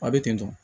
A bɛ ten tɔ